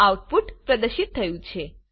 output પ્રદર્શિત થયું છે